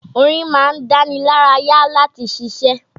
Orin ma ń dánilárayá láti ṣiṣé.